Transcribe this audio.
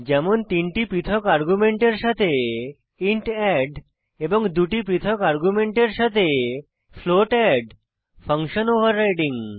যেমন তিনটি পৃথক আর্গুমেন্টের সাথে ইন্ট এড এবং দুটি পৃথক আর্গুমেন্টের সাথে ফ্লোট এড ফাঙ্কশন ওভাররাইডিং